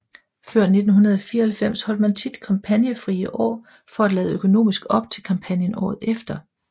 Før 1994 holdt man tit kampagnefrie år for at lade økonomisk op til kampagnen året efter